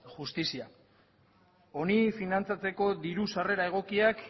justizia honi finantzatzeko diru sarrera egokiak